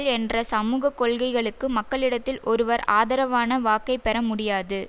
என்ற சமுக கொள்கைகளுக்கு மக்களிடத்தில் ஒருவர் ஆதரவான வாக்கைப்பெற முடியாது